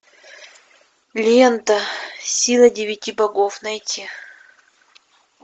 лента сила девяти богов найти